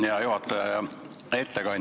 Hea juhataja!